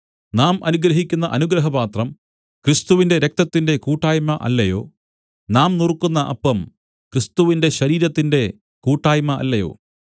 നാം അനുഗ്രഹിക്കുന്ന അനുഗ്രഹപാത്രം ക്രിസ്തുവിന്റെ രക്തത്തിന്റെ കൂട്ടായ്മ അല്ലയോ നാം നുറുക്കുന്ന അപ്പം ക്രിസ്തുവിന്റെ ശരീരത്തിന്റെ കൂട്ടായ്മ അല്ലയോ